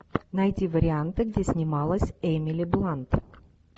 найти варианты где снималась эмили блант